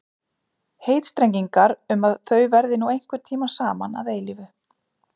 Heitstrengingarnar um að þau verði nú einhvern tíma saman að eilífu.